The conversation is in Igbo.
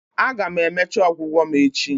Aga m emecha ọgwụgwọ m echi